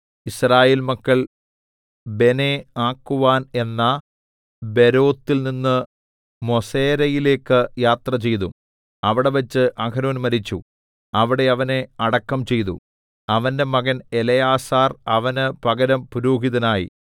യിസ്രായേൽ മക്കൾ ബെനേആക്കുവാൻ എന്ന ബേരോത്തിൽനിന്ന് മോസേരയിലേക്ക് യാത്രചെയ്തു അവിടെവെച്ച് അഹരോൻ മരിച്ചു അവിടെ അവനെ അടക്കം ചെയ്തു അവന്റെ മകൻ എലെയാസാർ അവന് പകരം പുരോഹിതനായി